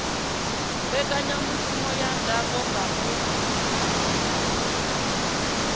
mbekanyamaitele ya ndango ya mupo